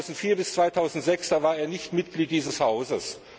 2004 bis 2006 war er nicht Mitglied dieses Hauses.